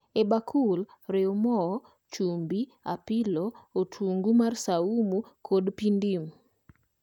E bakul, riu moo, chumbi, apilo, otungu mar saumu kod pii ndim